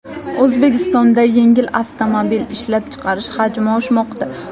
O‘zbekistonda yengil avtomobil ishlab chiqarish hajmi oshmoqda.